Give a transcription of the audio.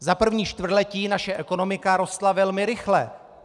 Za 1. čtvrtletí naše ekonomika rostla velmi rychle.